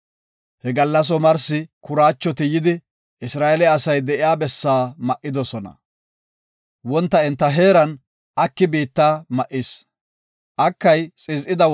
He gallas omarsi kuraachoti yidi, Isra7eele asay de7iya bessaa ma7idosona. Wonta enta heeran aki biitta ma7is. Isra7eeleti kuraachomaxishin